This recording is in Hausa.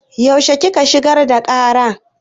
Yaushe kika shigar da ƙara?